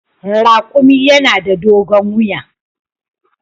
Raƙumi yana da dogon wiya.